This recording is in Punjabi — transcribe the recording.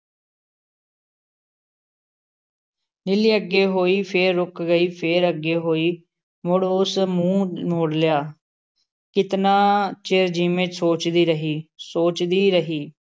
ਨੀਲੀ ਅੱਗੇ ਹੋਈ । ਫੇਰ ਰੁਕ ਗਈ । ਫੇਰ ਅੱਗੇ ਹੋਈ । ਮੁੜ ਉਸ ਮੂੰਹ ਮੋੜ ਲਿਆ । ਕਿਤਨਾ ਚਿਰ ਜਿਵੇਂ ਸੋਚਦੀ ਰਹੀ, ਸੋਚਦੀ ਰਹੀ ।